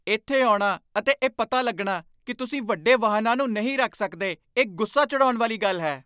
ਇੱਥੇ ਆਉਣਾ ਅਤੇ ਇਹ ਪਤਾ ਲੱਗਣਾ ਕਿ ਤੁਸੀਂ ਵੱਡੇ ਵਾਹਨਾਂ ਨੂੰ ਨਹੀਂ ਰੱਖ ਸਕਦੇ ਇਹ ਗੁੱਸਾ ਚੜ੍ਹਾਉਣ ਵਾਲੀ ਗੱਲ ਹੈ ।